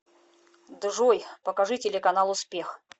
джой покажи телеканал успех